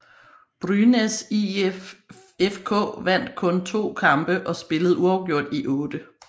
Brynäs IF FK vandt kun to kampe og spillede uafgjort i otte